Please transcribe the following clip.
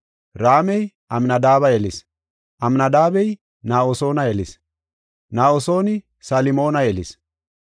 Raamey Amnadaabe yelis; Amnadaabey Na7asoona yelis; Na7asooni Salmoona yelis;